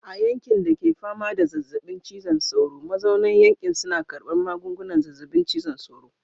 A yankin da ke fama da zazzabin cizon sauro, mazauna yankin suna karbar magungunan zazzabin cizon sauro.